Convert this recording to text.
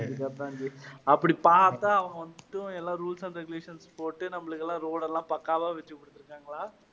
அப்படி பார்த்தா அவங்க rules and regulations போட்டு நம்மளுக்கு எல்லாம் road எல்லாம் பக்காவா வெச்சு கொடுத்திருக்காங்களா?